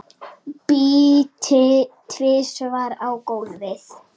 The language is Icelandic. Spýti tvisvar á gólfið.